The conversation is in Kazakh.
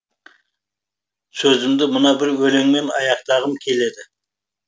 сөзімді мына бір өлеңіммен аяқтағым келеді